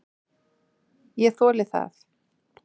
Ég þoli það.